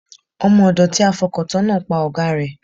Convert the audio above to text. Ọmọ ọ̀dọ̀ tí a fọkàn tán náà pa ọ̀gáa rẹ̀.